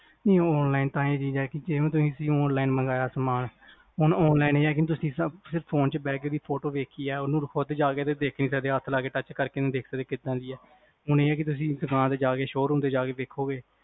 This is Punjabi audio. ਨਹੀ online ਤਾਂ ਹੁਣ ਤੁਸੀ online ਮੰਗਾਇਆ ਸਾਮਾਨ ਹੁਣ online ਜਿਦਾਂ ਤੁਸੀ ਫ਼ੋਨ ਚ photo ਵੇਖੀਆ ਉਹਦੇ ਚ ਜਾ ਕ ਹੱਥ ਲਾ ਕ touch ਕਰਕੇ ਨੀ ਦੇਖ ਸਕਦੇ ਕ ਕਿਦਾਂ ਦੀ ਆ ਹੁਣ ਇਹ ਕਿ ਤੁਸੀ showroom ਤੇ ਜਾ ਕ ਦੇਖੋਗੇ